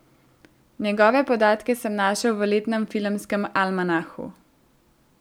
Njegove podatke sem našel v letnem filmskem almanahu.